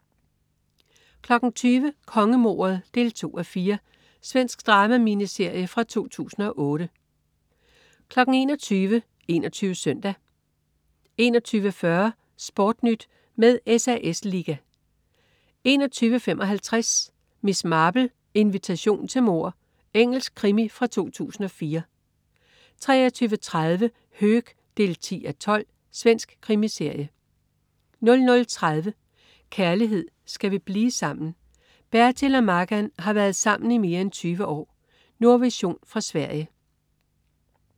20.00 Kongemordet 2:4. Svensk drama-miniserie fra 2008 21.00 21 Søndag 21.40 SportNyt med SAS Liga 21.55 Miss Marple: Invitation til mord. Engelsk krimi fra 2004 23.30 Höök 10:12. Svensk krimiserie 00.30 Kærlighed. Skal vi blive sammen? Bertil og Maggan har været sammen i mere end 20 år. Nordvision fra Sverige